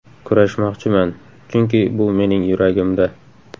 Kurashmoqchiman, chunki bu mening yuragimda.